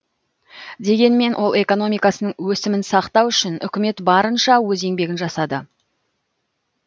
дегенмен ол экономикасының өсімін сақтау үшін үкімет барынша өз еңбегін жасады